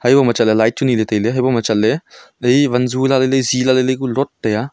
hebo ma chatley light chu nye ley tailey haibo ma chatley zi vanzu lalai ley zi lalai ley ku lot taiya.